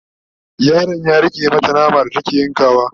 yaron ya rike mata nama da take ta yankawa